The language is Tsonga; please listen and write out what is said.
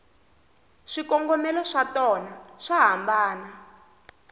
swikongomelo swatona swa hambana